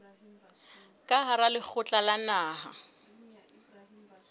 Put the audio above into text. ka hara lekgotla la naha